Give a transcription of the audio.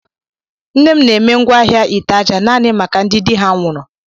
Nne m na-eme ngwaahịa ite aja naanị maka ndị di ha nwụrụ.